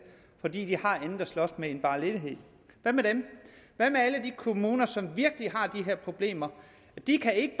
fordi de har andet at slås med end bare ledighed hvad med dem hvad med alle de kommuner som virkelig har de her problemer de kan ikke